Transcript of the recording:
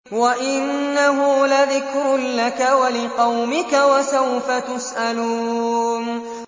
وَإِنَّهُ لَذِكْرٌ لَّكَ وَلِقَوْمِكَ ۖ وَسَوْفَ تُسْأَلُونَ